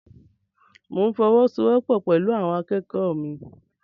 Mo n fọwọ́sowọ́po pẹlú àwọn akẹ́kọ̀ọ́ mi.